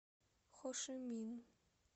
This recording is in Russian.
хошимин